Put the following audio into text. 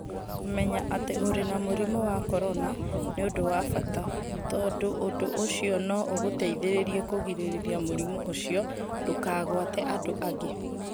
Kũmenya atĩ ũrĩ na mũrimũ wa korona nĩ ũndũ wa bata, tondũ ũndũ ũcio no ũgũteithie kũgirĩrĩria mũrimũ ũcio ndũkagwate andũ angĩ.